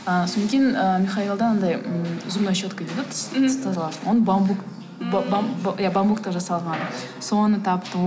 ы содан кейін ы михаилда анадай м зубная щетка дейді ғой тіс тазалағыш оны бамбук иә бамбуктан жасалған соны таптым